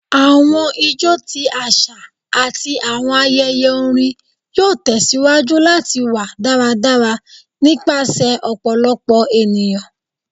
Awọn ijó ti aṣa ati awọn ayẹyẹ orin yoo tẹsiwaju lati wa daradara nipasẹ ọpọlọpọ eniyan